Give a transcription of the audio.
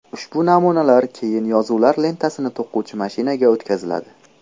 Ushbu namunalar keyin yozuvlar lentasini to‘quvchi mashinaga o‘tkaziladi.